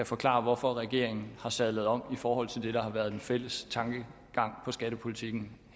forklare hvorfor regeringen har sadlet om i forhold til det der har været den fælles tankegang i skattepolitikken